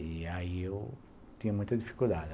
E aí eu tinha muita dificuldade.